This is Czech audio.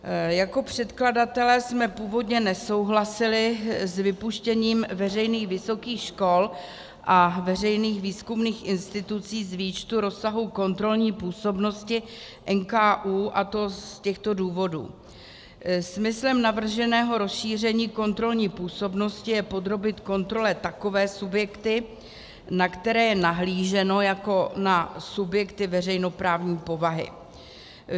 Jako předkladatelé jsme původně nesouhlasili s vypuštěním veřejných vysokých škol a veřejných výzkumných institucí z výčtu rozsahu kontrolní působnosti NKÚ, a to z těchto důvodů: Smyslem navrženého rozšíření kontrolní působnosti je podrobit kontrole takové subjekty, na které je nahlíženo jako na subjekty veřejnoprávní povahy.